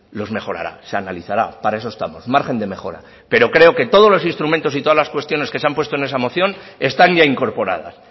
los mejorará se analizará para eso estamos margen de mejora pero creo que todos los instrumentos y todas las cuestiones que se han puesto en esa moción están ya incorporadas